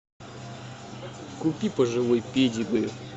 купи пожалуй педигри